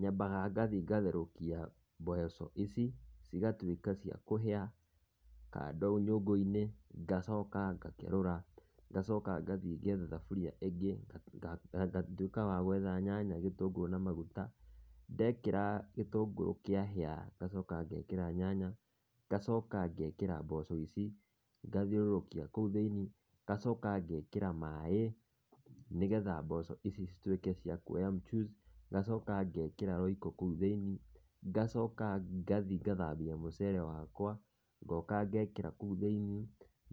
Nyambaga ngathiĩ ngatherũkia mboco ici, cigatuĩka cia kũhĩa kando nyũngũ-inĩ, ngacoka ngakerũra, ngacoka ngathiĩ ngetha thaburia ĩngĩ, ngatuĩka wa gwetha nyanya, gĩtũngũrũ na maguta. Ndekĩra gĩtũngũrũ kĩahĩa, ngacoka ngekĩra nyanya, ngacoka ngekĩra mboco ici, ngathiũrũrũkia kũu thĩiniĩ, ngacoka ngekĩra maĩ, nĩgetha mboco ici cituĩke cia kuoya mchuzi, ngacoka ngekĩra Royco kũu thĩiniĩ. Ngacoka ngathi ngathambia mũcere wakwa, ngoka ngekĩra kũu thĩini,